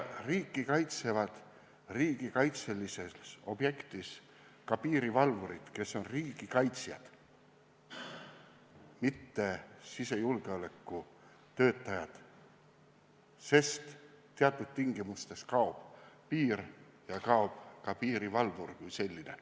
Riiki kaitsevad riigikaitselises objektis ka piirivalvurid, kes on riigikaitsjad, mitte sisejulgeolekutöötajad, sest teatud tingimustes kaob piir ja kaob ka piirivalvur kui selline.